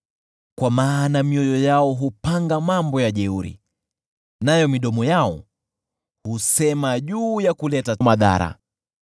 kwa maana mioyo yao hupanga mambo ya jeuri, nayo midomo yao husema juu ya kuleta madhara.